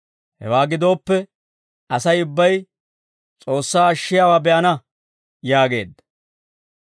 Hewaa gidooppe, Asay ubbay S'oossay ashshiyaawaa be'ana› » yaageedda.